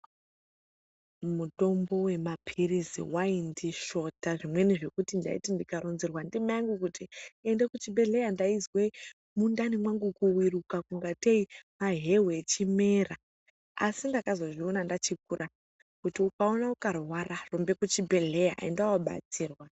Mutombo wemaphirizi waindisvota zvekuti ndaiti ndikaronzerwa ndimaingu kuti ende kuchibhedhleya, ndaizwe mwundani mwangu kuviruka kungatei maheu echimera, Asi ndakazozviona ndachikura kuti ukaona ukarwara rumbe kuchibhedhleya, enda wobatsirwa.